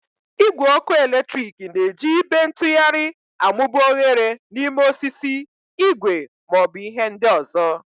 Igwe ọkụ eletrik na-eji ibe ntugharị amụba oghere n'ime osisi, igwe, ma ọ bụ ihe ndị ọzọ.